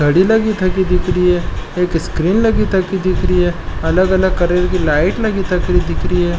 घडी लागि थकी दिखरी है एक स्क्रीन लागि थकी दिखरी है अलग अलग कलर की लाइट लागि थकी दिखरि है।